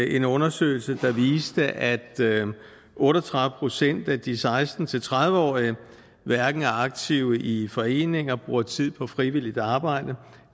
en undersøgelse der viste at otte og tredive procent af de seksten til tredive årige hverken var aktive i foreninger brugte tid på frivilligt arbejde